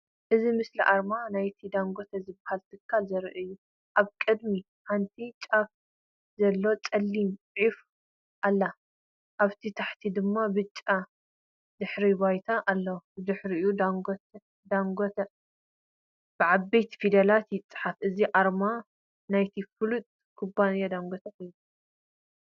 እቲ ምስሊ ኣርማ ናይቲ “ዳንጎተ” ዝበሃል ትካል ዘርኢ እዩ። ኣብ ቅድሚት ሓንቲ ጫፍ ዘለዋ ጸላም ዑፍ ኣላ። ኣብ ትሕቲኣ ድማ ብጫ ድሕረ ባይታ ኣለዋ። ድሕሪኡ “ዳንጎተ” ብዓበይቲ ፊደላት ይጽሓፍ። እዚ ኣርማ ናይቲ ፍሉጥ ኩባንያ ዳንጎተ እዩ።